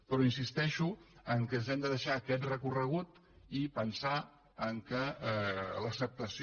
però insisteixo que ens han de deixar aquest recorregut i pensar que l’acceptació